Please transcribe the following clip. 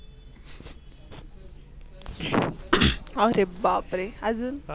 अरे बापरे! अजून?